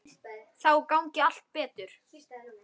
Þá gangi allt betur.